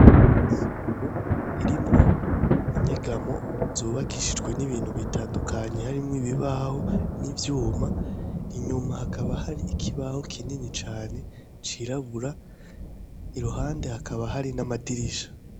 Isomero irimwo inyegamo zubakishijwe n'ibintu bitandukanye harimwo ibibaho n'ivyuma. Inyuma hakaba hari ikibaho kinini cane, cirabura. Iruhande hakaba hari n'amadirisha.